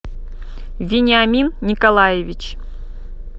вениамин николаевич